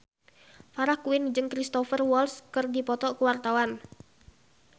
Farah Quinn jeung Cristhoper Waltz keur dipoto ku wartawan